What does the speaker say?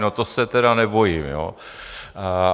No to se tedy nebojím, jo?